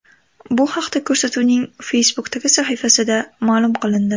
Bu haqda ko‘rsatuvning Facebook’dagi sahifasida ma’lum qilindi .